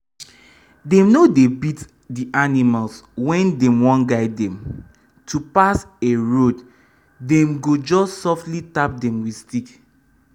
dem no dey beat d animals when dem wan guide them to pass a road dem go just sofri tap dem with stick.